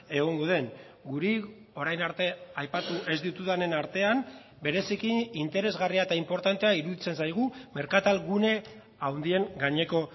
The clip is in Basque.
egongo den guri orain arte aipatu ez ditudanen artean bereziki interesgarria eta inportantea iruditzen zaigu merkatal gune handien gaineko